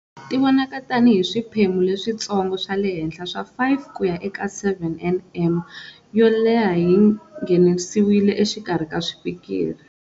Ti vonaka tani hi swiphemu leswintsongo swa le henhla swa 5 kuya eka 7 nm yo leha yi nghenisiwile exikarhi ka swipikiri.